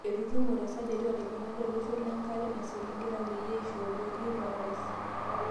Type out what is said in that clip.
Etutumote esajati oolaigunak loloshon le nkare naisiligita peyie eisho olotii lorais.